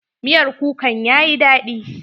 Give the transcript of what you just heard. Miyar kukan yayi daɗi.